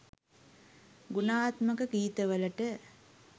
ගුණාත්මක ගීතවලට